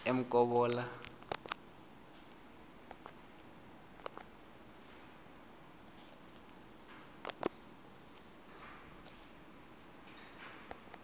emkobola